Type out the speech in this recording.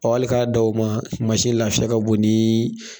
hali k'a da o ma masi lafiya ka bon nii